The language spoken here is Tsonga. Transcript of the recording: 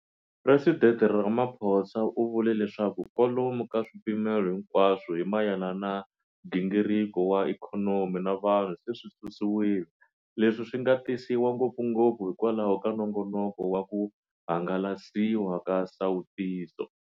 Presidente Ramaphosa u vule leswaku kwalomu ka swipimelo hinkwaswo hi mayelana na nghingiriko wa ikhonomi na vanhu se swi susiwile, leswi swi nga tisiwa ngopfungopfu hikwalaho ka nongonoko wa ku hangalasiwa ka nsawutiso.